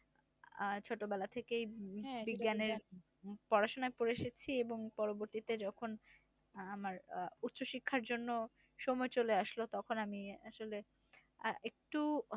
আহ ছোটবেলা থেকেই বিজ্ঞানে পড়াশোনা করে এসেছি এবং পরবর্তীতে যখন আহ আমার উচ্চশিক্ষার জন্য সময় চলে আসলো, তখন আমি আসলে আহ একটু